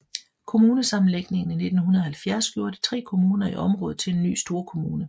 Kommunesammenlægningen i 1970 gjorde de tre kommuner i området til en ny storkommune